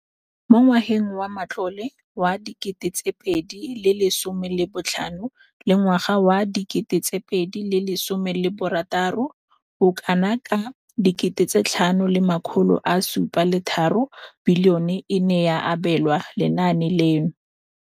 Mo ngwageng wa matlole wa 2015,16, bokanaka R5 703 bilione e ne ya abelwa lenaane leno.